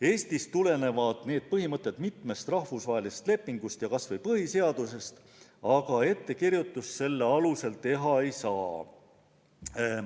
Eestis tulenevad need põhimõtted mitmest rahvusvahelisest lepingust ja kas või põhiseadusest, aga ettekirjutust nende alusel teha ei saa.